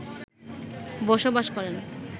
বসবাস করেন